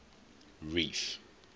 reef